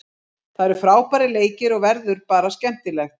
Það eru frábærir leikir og verður bara skemmtilegt.